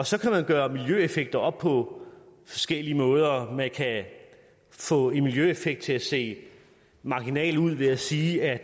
så kan man gøre miljøeffekter op på forskellige måder man kan få en miljøeffekt til at se marginal ud ved at sige at